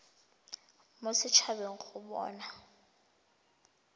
mo set habeng go bona